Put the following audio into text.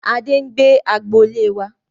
Adé ń gbé agboolé wá.